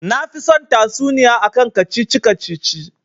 Nafi son tatsuniya akan kacici-kacici